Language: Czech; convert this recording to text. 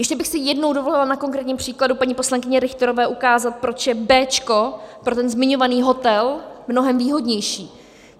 Ještě bych si jednou dovolila na konkrétním příkladu paní poslankyně Richterové ukázat, proč je B pro ten zmiňovaný hotel mnohem výhodnější.